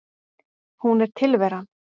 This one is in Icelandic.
Hún er tilveran.